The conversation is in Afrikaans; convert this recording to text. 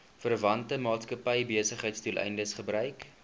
verwante maatskappybesigheidsdoeleindes gebruik